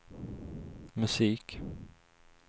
musik